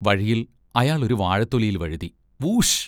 വഴിയിൽ അയാൾ ഒരു വാഴത്തൊലിയിൽ വഴുതി-വൂഷ്!